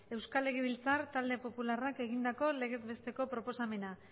euskal legebiltzar talde popularrak egindako legez besteko proposamena